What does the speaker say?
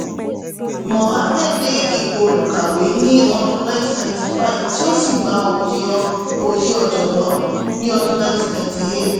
mohammed de ipò olùkàwé ni ọdún 1995 tí ó sì gba oyè ọ̀jọ̀gbọ́n ni ọdún 1998